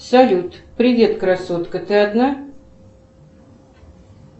салют привет красотка ты одна